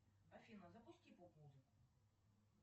афина запусти поп музыку